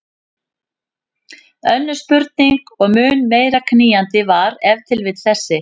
Önnur spurning og mun meira knýjandi var ef til vill þessi